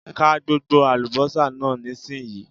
Ka gbogbo àlùbọ́sà náà nísìnyí!